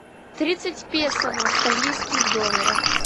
тридцать песо в австралийских долларах